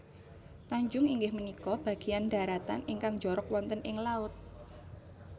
Tanjung inggih punika bagéyan dharatan ingkang njorok wonten ing laut